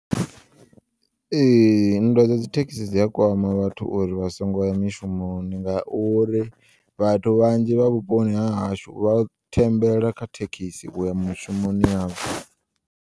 Ee, nndwa dza dzithekisi dzi a kwama vhathu uri vhasongo ya mishumoni ngauri vhathu vhanzhi vha vhuponi ha hashu vha thembela kha thekisi uya mishumoni yavho.